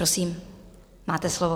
Prosím, máte slovo.